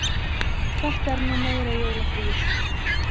Þetta er nú meira jólafríið!